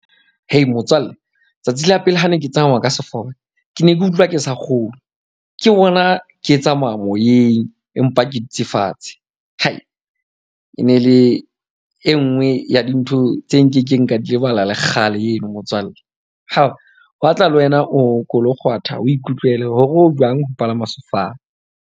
Motswalle tsatsi la pele ha ne ke tsamaya ka ke ne ke utlwa ke sa kgolwe. Ke bona ke tsamaya moyeng, empa ke dutse fatshe. E ne e le e nngwe ya dintho tse nkekeng ka di lebala lekgale eno motswalle. Ho batla le wena o ko lo kgwatha o ikutlwela hore o jwang ho palama sefofane.